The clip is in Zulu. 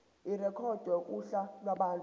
irekhodwe kuhla lwabantu